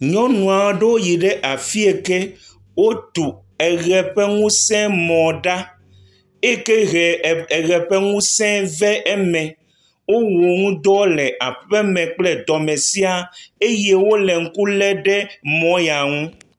Nyɔnu aɖewo yi afi yike wotu eʋe ƒe ŋusemɔ ɖa, eke he eʋe ƒe ŋuse va eme. Wowɔ nuɖɔ le aƒe me kple tɔme sia eye wole ŋku le mɔ ya ŋu.